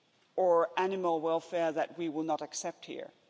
or animal welfare that we will not accept here.